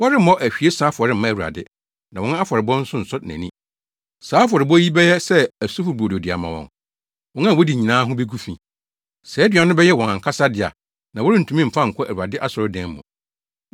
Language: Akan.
Wɔremmɔ ahwiesa afɔre mma Awurade, na wɔn afɔrebɔ nso nsɔ nʼani. Saa afɔrebɔ yi bɛyɛ sɛ asufo brodo de ama wɔn; wɔn a wodi nyinaa ho begu fi. Saa aduan no bɛyɛ wɔn ankasa dea na wɔrentumi mmfa nkɔ Awurade asɔredan mu.